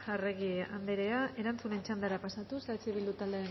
arregi anderea erantzunen txandara pasatuz eh bildu taldeen